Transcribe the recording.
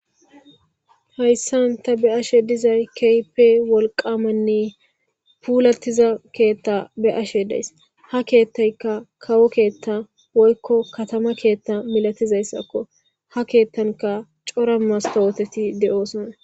hayssan ta be'ashe dizay keype wolqamanne puulatiza keetta be ashe days ha keethtayka kawo keethta woykko katama keetta milatizayssakko ha keettanka cora mastawoteti de7oosona